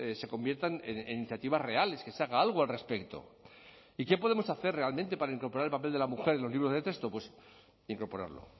se conviertan en iniciativas reales que se haga algo al respecto y qué podemos hacer realmente para incorporar el papel de la mujer en los libros de texto pues incorporarlo